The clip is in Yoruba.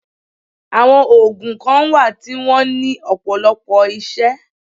Àwọn ògùn kan wà tí wọ́n ní ọ̀pọ̀lọpọ̀ isẹ́